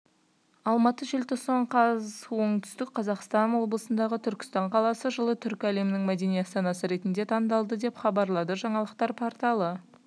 алматы желтоқсан қаз оңтүстік қазақстан облысындағы түркістан қаласы жылы түркі әлемінің мәдени астанасы ретінде таңдалды деп хабарлады жаңалықтар порталы